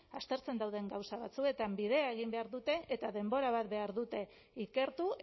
aztertzen dauden gauza batzuetan bidea egin behar dute eta denbora bat behar dute ikertu